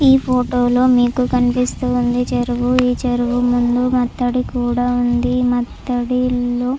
ఈ ఫోటో లో మీకు కనిపిస్తుంది చెరువు ఈ చెరువు ముందు మత్తడి కూడా ఉంది ఈ మతడిలో --